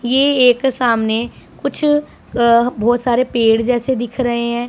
ये एक सामने कुछ क्रह बहोत सारे पेड़ जैसे दिख रहे हैं।